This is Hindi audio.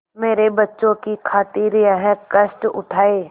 मेरे बच्चों की खातिर यह कष्ट उठायें